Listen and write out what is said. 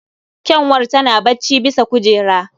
Ƙyanwar tana bacci bisa kujera.